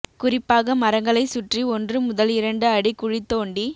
குறிப்பாக மரங்களை சுற்றி ஒன்று முதல் இரண்டு அடி குழி தோண்டி